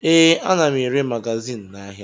Ee, ana m ere magazin n'ahịa